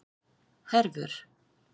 Hervör